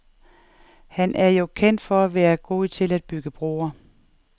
Han er jo kendt for at være god til at bygge broer.